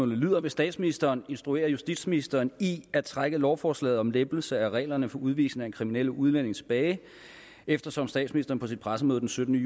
lyder vil statsministeren instruere justitsministeren i at trække lovforslaget om lempelse af reglerne for udvisning af kriminelle udlændinge tilbage eftersom statsministeren på sit pressemøde den syttende